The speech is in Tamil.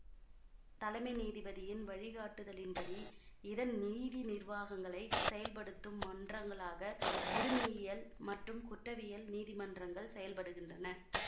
தலைமை நீதிபதியின் வழிகாட்டுதலின்படி இதன் நீதி நிர்வாகங்களைச் செயல்படுத்தும் மன்றங்களாக உரிமையியல் மற்றும் குற்றவியல் நீதிமன்றங்கள் செயல்படுகின்றன